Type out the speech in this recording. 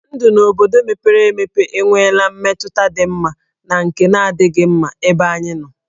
Ndụ n'obodo mepere emepe enwela mmetụta dị mma na nke na-adịghị mma n'ebe anyị nọ.